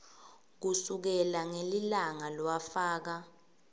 kusukela ngelilanga lowafaka